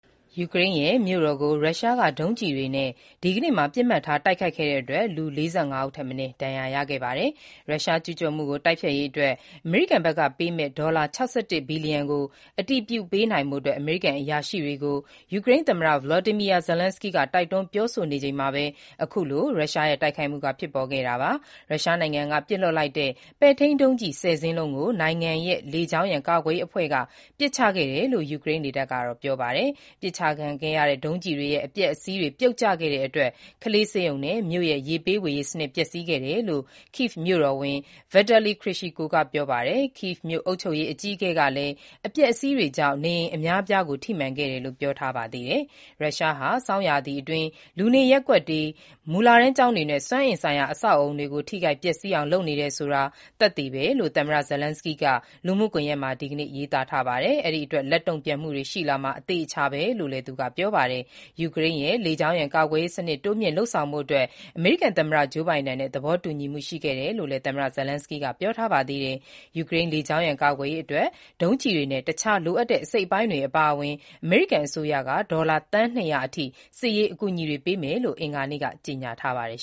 ယူကရိန်းရဲ့ မြို့တော်ကို ရုရှားက ဒုံးကျည်တွေနဲ့ ဒီကနေ့မှာ ပစ်မှတ်ထားတိုက်ခိုက်ခဲ့တဲ့အတွက် လူ ၄၅ ဦးထက်မနည်း ဒဏ်ရာ ရရှိခဲ့ပါတယ်။ ရုရှားကျူးကျော်မှုကို တိုက်ဖျက်ရေးအတွက် အမေရိကန်ဘက်ကပေးမယ့် ဒေါ်လာ ၆၁ ဘီလီယံကို အတည်ပြုပေးနိုင်ဖို့ အမေရိကန်အရာရှိတွေကို ယူကရိန်းသမ္မတ Volodymyr Zelenskyy တိုက်တွန်း ပြောဆိုချိန်မှာဘဲ အခုလို ရုရှားရဲ့ တိုက်ခိုက်မှု ဖြစ်ပေါ်ခဲ့တာပါ။ ရုရှားနိုင်ငံက ပစ်လွှတ်လိုက်တဲ့ ပဲ့ထိန်းဒုံးကျည် ၁၀ စင်းလုံးကို နိုင်ငံရဲ့ လေကြောင်းရန် ကာကွယ်ရေးအဖွဲ့က ပစ်ချခဲ့တယ်လို့ ယူကရိန်းလေတပ်က ပြောပါတယ်။ ပစ်ချခံရတဲ့ ဒုံးကျည်တွေရဲ့ အပျက်အစီးတွေ ပြုတ်ကျခဲ့တဲ့အတွက် ကလေးဆေးရုံနဲ့ မြို့ရဲ့ ရေပေးဝေရေးစနစ် ပျက်စီးခဲ့တယ်လို့ Kyiv မြို့တော်ဝန် Vitaly Klitschko က ပြောပါတယ်။ Kyiv မြို့ အုပ်ချုပ်ရေးအကြီးအကဲ Serhiy Popko ကလည်း အပျက်အစီးတွေကြောင့် နေအိမ်အများအပြားကို ထိမှန်ခဲ့တယ်လို့ ပြောထားပါသေးတယ်။ ရုရှားဟာ ဆောင်းရာသီအတွင်း လူနေရပ်ကွက်တွေ၊ မူလတန်းကျောင်းတွေနဲ့ စွမ်းအင်ဆိုင်ရာ အဆောက်အဦးတွေကို ထိခိုက်ပျက်ဆီးအောင် လုပ်နေတယ်ဆိုတာ သက်သေပဲလို့ သမ္မတ Zelenskyy က လူမှုကွန်ယက်မှာ ဒီနေ့ပဲ ရေးသားထားပါတယ်။ ဒီအတွက် လက်တုံ့ပြန်မှုတွေ ရှိလာမှာ အသေအချာပဲလို့လည်း သူကပြောပါတယ်။ ယူကရိန်းရဲ့ လေကြောင်းရန်ကာကွယ်ရေးစနစ် တိုးမြှင့်လုပ်ဆောင်ဖို့အတွက် အမေရိကန် သမ္မတ Joe Biden နဲ့ သဘောတူခဲ့ညီမှု ရှိခဲ့တယ်လို့လည်း သမ္မတ Zelenskyy က ပြောထားပါသေးတယ်။ ယူကရိန်း လေကြောင်းရန်ကာကွယ်ရေးအတွက် ဒုံးကျည်တွေနဲ့ အခြားလိုအပ်တဲ့ အစိတ်အပိုင်းတွေ အပါအဝင် အမေရိကန်အစိုးရက ဒေါ်လာ သန်း ၂၀၀ အထိ စစ်ရေး အကူအညီတွေပေးမယ်လို့ အင်္ဂါနေ့က ကြေညာထားပါတယ်